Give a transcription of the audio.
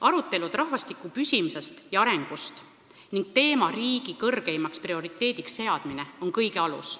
Arutelud rahvastiku püsimise ja arengu üle ning selle teema riigi kõrgeimaks prioriteediks seadmine on kõige alus.